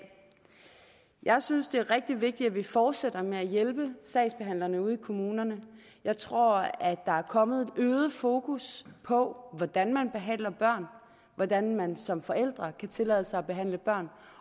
jeg synes det er rigtig vigtigt at vi fortsætter med at hjælpe sagsbehandlerne ude i kommunerne jeg tror at der er kommet et øget fokus på hvordan man behandler børn hvordan man som forældre kan tillade sig at behandle børn